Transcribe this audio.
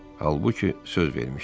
Halbuki söz vermişdi.